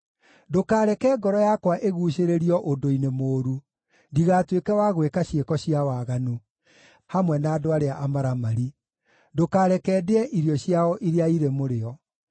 Ndũkareke ngoro yakwa ĩguucĩrĩrio ũndũ-inĩ mũũru, ndigatuĩke wa gwĩka ciĩko cia waganu hamwe na andũ arĩa amaramari; Ndũkareke ndĩe irio ciao iria irĩ mũrĩo.